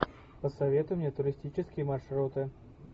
посоветуй мне туристические маршруты